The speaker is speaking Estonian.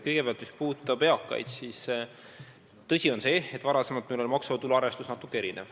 Kõigepealt, mis puudutab eakaid, siis on tõsi, et varem meil oli maksuvaba tulu arvestus natuke teistsugune.